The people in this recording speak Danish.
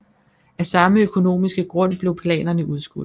Af samme økonomiske grund blev planerne udskudt